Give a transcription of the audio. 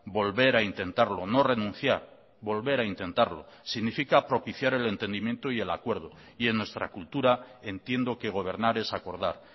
volver a intentarlo no renunciar volver a intentarlo significa propiciar el entendimiento y el acuerdo y en nuestra cultura entiendo que gobernar es acordar